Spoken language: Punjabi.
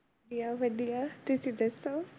ਵਧੀਆ ਵਧੀਆ ਤੁਸੀਂ ਦੱਸੋ?